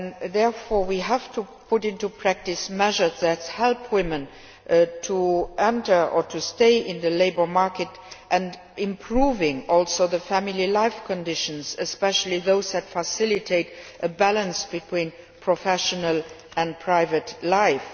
Therefore, we have to put into practice measures that help women enter or stay in the labour market by improving family life conditions, especially those that facilitate a balance between professional and private life.